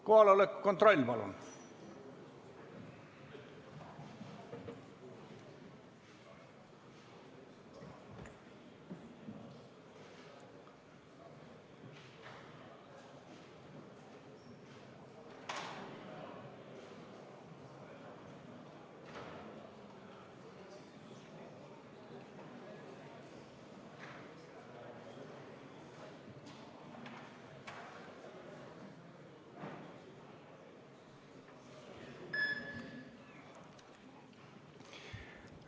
Kohaloleku kontroll, palun!